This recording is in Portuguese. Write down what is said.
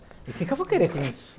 O que que eu vou querer com isso?